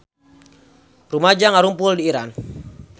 Rumaja ngarumpul di Iran